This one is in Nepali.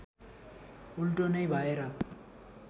उल्टो नै भएर